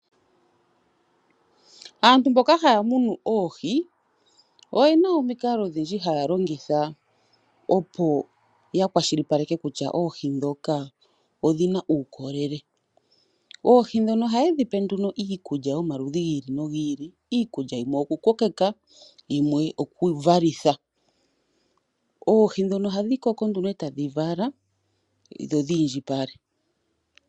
Aantu mboka haya munu oohi, oyena omikalo odhindji haya longitha opo yakwashilipaleka kutya oohi ndhoka odhina uukolele. Oohi ndhono ohaye dhipe nduno iikulya yomaludhi gi ili nogi ili, iikulya yimwe okukokeka, yimwe okuvalitha. Oohi ndhono ohadhi koko nduno etadhi vala dho dhi indjipale.